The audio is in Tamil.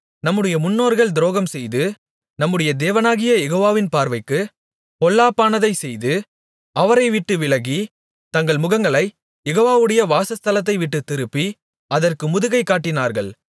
நம்முடைய முன்னோர்கள் துரோகம்செய்து நம்முடைய தேவனாகிய யெகோவாவின் பார்வைக்குப் பொல்லாப்பானதைச் செய்து அவரைவிட்டு விலகி தங்கள் முகங்களைக் யெகோவாவுடைய வாசஸ்தலத்தைவிட்டுத் திருப்பி அதற்கு முதுகைக் காட்டினார்கள்